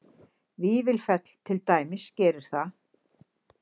Vífilfell til dæmis gerir það